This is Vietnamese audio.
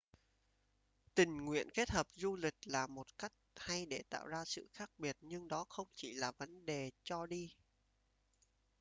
tình nguyện kết hợp du lịch là một cách hay để tạo ra sự khác biệt nhưng đó không chỉ là vấn đề cho đi